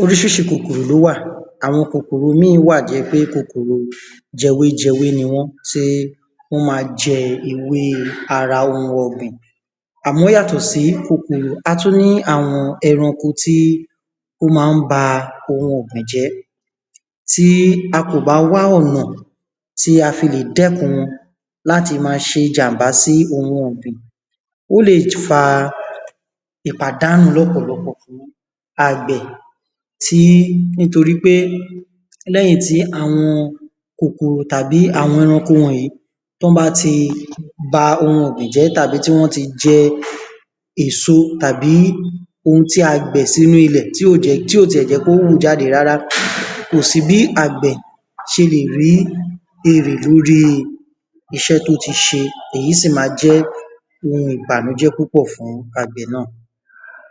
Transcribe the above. orísirísi kòkòrò ló wà, àwọn kòkòrò míì wáà tó jẹ́ pé kòkòrò jẹwéjẹwé ni wọ́n tí wọ́n má n jẹ ewé ara oun ọ̀gbìn à mọ́ yàtọ̀ sí kòkòrò atún ní àwọn ẹran ko tí ón má n ba oun ọ̀gbìn jẹ́ tí a kò bá wá ọ̀nà tí a fi lè dẹ́kun wọn láti ma se jànbá sí oun ọ̀gbìn ó lè fa ìpàdánù lọ́pọ̀lọpọ̀ àgbẹ̀, tí nítorí pé lẹ́yìn tí àwọn kòkòrò tàbí àwọn ẹranko wọ̀nyí tí wọ́n bá tí ba oun ọ̀gbìn jẹ́ tàbí tí wọ́n tí jẹ èso tàbí oun tí à gbìn sínu ìlẹ̀ tí ò jé, tí ò ti ẹ̀ jẹ́ kí ó wù jáde rárá ko si bi àgbè se lè rí èrè lóri isẹ́ tí ó ti se èyí sì ma jẹ́ oun ìbànújẹ́ fún àgbè náà